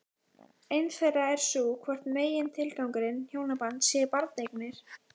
Ein þeirra er sú hvort megintilgangur hjónabands sé barneignir?